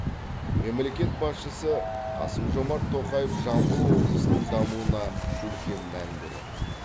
мемлекет басшысы қасым жомарт тоқаев жамбыл облысының дамуына үлкен мән береді